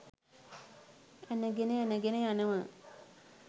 ඇනගෙන ඇනගෙන යනවා.